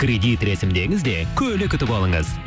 кредит рәсімдеңіз де көлік ұтып алыңыз